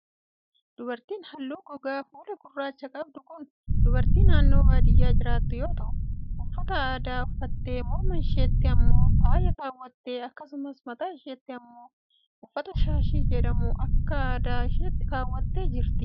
Dubartiin haalluu gogaa fuulaa gurraacha qabdu kun dubartii naannoo baadiyaa jiraattu yoo ta'u, uffata aadaa uffattee morma isheetti immoo faaya kaawwattee akkasumas mataa isheetti immoo uffata shaashii jedhamu akka aadaa isheetti kaawwattee jirti.